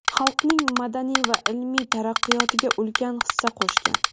xalqning madaniy va ilmiy taraqqiyotiga ulkan hissa qo‘shgan.